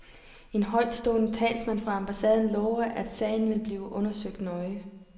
En højtstående talsmand fra ambassaden lover, at sagen vil blive undersøgt nøje.